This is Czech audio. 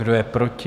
Kdo je proti?